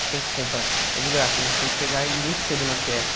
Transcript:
Você tem que comprar. É de graça né, você tem que pegar ele muito cedo na Fiesp.